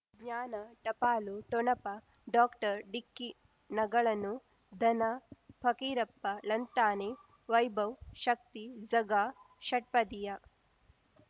ಜ್ಞಾನ ಟಪಾಲು ಠೊಣಪ ಡಾಕ್ಟರ್ ಢಿಕ್ಕಿ ಣಗಳನು ಧನ ಫಕೀರಪ್ಪ ಳಂತಾನೆ ವೈಭವ್ ಶಕ್ತಿ ಝಗಾ ಷಟ್ಪದಿಯ